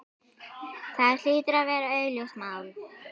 Það hlýtur að vera augljóst mál.